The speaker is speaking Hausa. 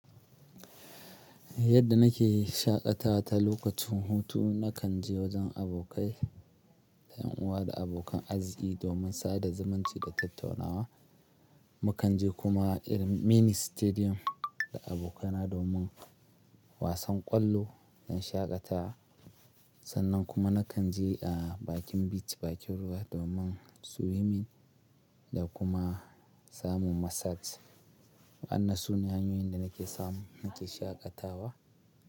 Yadda nake shaƙata ta lokacin hutu nakan je wajen abokai da ƴan uwa da abokan azziƙi domin sada zumunci da tattaunawa. Mu kan je kuma irin mini stadium da abokaina domin wasan ƙwallo na shaƙatawa sannan kuma nakan je eh bakin beach, bakin ruwa domin swimming da kuma samun massage. Anna sune hanyoyin da nake samu nake shaƙatawa.